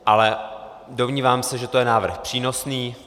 Ale domnívám se, že to je návrh přínosný.